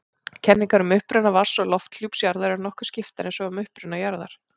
Kenningar um uppruna vatns- og lofthjúps jarðar eru nokkuð skiptar eins og um uppruna jarðar.